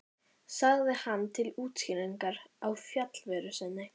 sagði hann til útskýringar á fjarveru sinni.